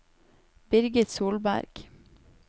Birgit Solberg